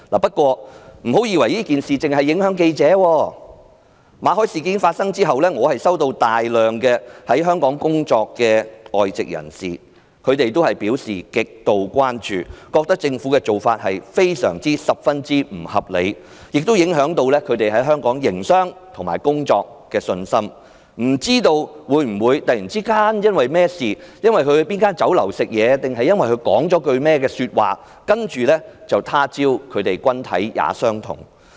不過，不要以為這件事只會影響記者，馬凱事件發生後，在香港工作的很多外籍人士均向我表示極度關注，他們覺得政府的做法非常不合理，亦影響到他們在香港營商及工作的信心，擔心會否有朝一日因為甚麼事情、在哪家酒樓吃飯還是說了甚麼話，接着就"他朝君體也相同"？